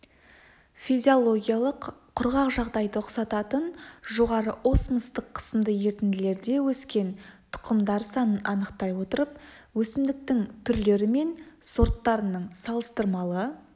физиологиялық құрғақ жағдайды ұқсататын жоғары осмостық қысымды ерітінділерде өскен тұқымдар санын анықтай отырып өсімдіктің түрлері мен сорттарының салыстырмалы